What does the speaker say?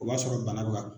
O b'a sɔrɔ bana bɛ ka